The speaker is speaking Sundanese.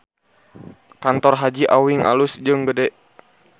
Kantor Haji Awing alus jeung gede